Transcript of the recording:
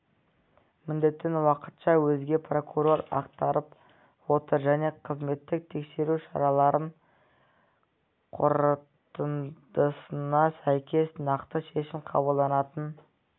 міндетін уақытша өзге прокурор атқарып отыр және қызметтік тексеру шараларының қорытындысына сәйкес нақты шешім қабылданатын